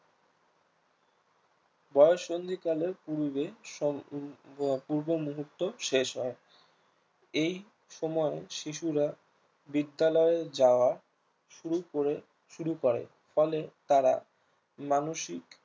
বয়ঃসন্ধি কালের পূর্বে পূর্ব মুহূর্ত শেষ হয় এই সময় শিশুরা বিদ্যালয়ে যাওয়া শুরু করে শুরু করে ফলে তারা মানসিক